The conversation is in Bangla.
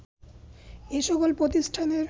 এ সকল প্রতিষ্ঠানের